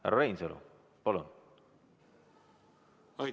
Härra Reinsalu, palun!